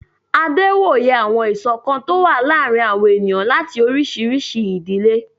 Adé wòye àwọn ìṣọ̀kan tó ń wà láàrin àwọn ènìyàn láti oríṣiríṣi ìdílé